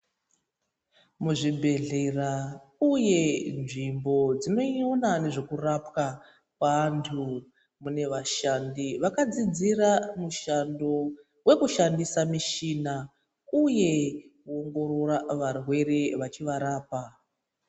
Muzvibhedhlera uye nzvimbo dzinoona nezvekuralwa kweantu mune vashandi vakadzidzira mushando wekushandisa michina uye kuongorora varwere vachivarapa.